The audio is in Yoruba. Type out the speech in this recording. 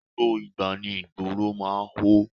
Gbogbo ìgbà ni ìgboro máa ń hó.